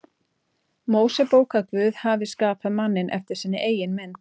Mósebók að Guð hafi skapað manninn eftir sinni eigin mynd.